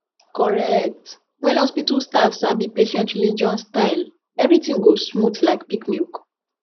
correct when hospital staff sabi patient religion style everything go smooth like peak milk